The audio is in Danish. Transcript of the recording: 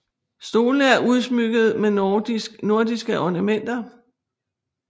Stolene er udsmykket med nordiske ornamenter